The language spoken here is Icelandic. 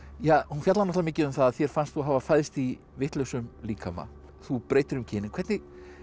fjallar mikið um það að þér fannst þú hafa fæðst í vitlausum líkama þú breytir um kyn en hvernig